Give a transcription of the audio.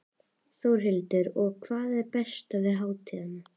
Þórhildur: Og hvað er það besta við hátíðina?